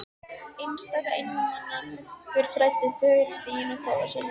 Einstaka einmana munkur þræddi þögull stíginn að kofa sínum.